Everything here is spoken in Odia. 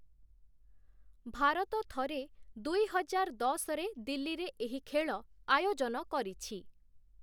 ଭାରତ ଥରେ, ଦୁଇ ହଜାର ଦଶରେ ଦିଲ୍ଲୀରେ ଏହି ଖେଳ ଆୟୋଜନ କରିଛି ।